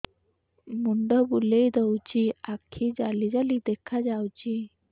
ମୁଣ୍ଡ ବୁଲେଇ ଦଉଚି ଆଖି ଜାଲି ଜାଲି ଦେଖା ଯାଉଚି